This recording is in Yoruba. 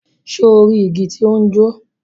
Ṣe o ri igi ti o ni jo?